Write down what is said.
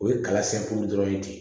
O ye kalasɛn dɔrɔn ye de